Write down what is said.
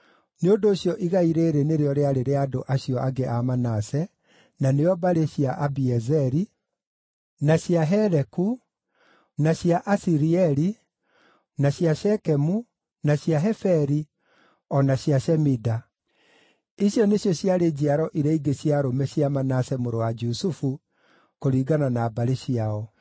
Nĩ ũndũ ũcio igai rĩĩrĩ nĩrĩo rĩarĩ rĩa andũ acio angĩ a Manase, na nĩo mbarĩ cia Abiezeri, na cia Heleku, na cia Aisiraeli, na cia Shekemu, na cia Heferi, o na cia Shemida. Icio nĩcio ciarĩ njiaro iria ingĩ cia arũme cia Manase mũrũ wa Jusufu kũringana na mbarĩ ciao.